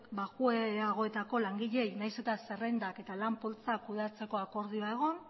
baxuagoetako langileei nahiz eta zerrendak eta lan poltsak kudeatzeko akordioa egon